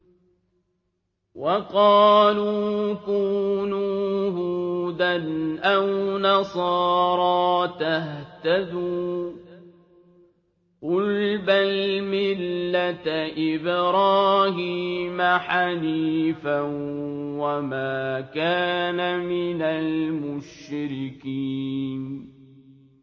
وَقَالُوا كُونُوا هُودًا أَوْ نَصَارَىٰ تَهْتَدُوا ۗ قُلْ بَلْ مِلَّةَ إِبْرَاهِيمَ حَنِيفًا ۖ وَمَا كَانَ مِنَ الْمُشْرِكِينَ